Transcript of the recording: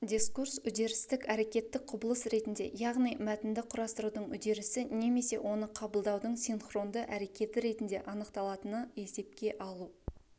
дискурс үдерістік әрекеттік құбылыс ретінде яғни мәтінді құрастырудың үдерісі немесе оны қабылдаудың синхронды әрекеті ретінде анықталатыны есепке алу